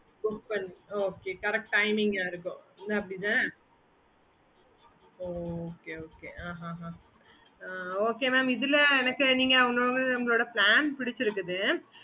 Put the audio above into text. okay mam